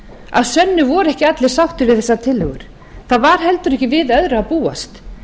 að sönnu voru ekki allir sáttir við þessar tillögur það var heldur ekki við öðru að búast